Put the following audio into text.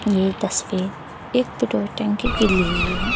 ये तस्वीर एक पेट्रोल टंकी की ली गई है।